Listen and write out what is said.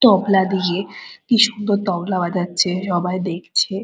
তবলা দিয়ে কি সুন্দর তবলা বাজাচ্ছে সবাই দেখছে।